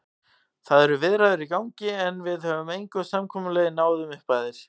Það eru viðræður í gangi, en við höfum engu samkomulagi náð um upphæðir.